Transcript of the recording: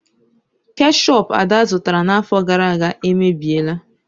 Keshup Ada zụtara n'afọ gara aga emebiela.